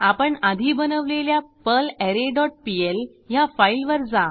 आपण आधी बनवलेल्या पर्लरे डॉट पीएल ह्या फाईलवर जा